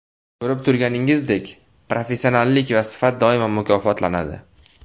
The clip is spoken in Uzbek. Ko‘rib turganimizdek, professionallik va sifat doimo mukofotlanadi.